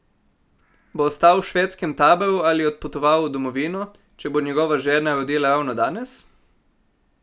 Bo ostal v švedskem taboru ali odpotoval v domovino, če bo njegova žena rodila ravno danes?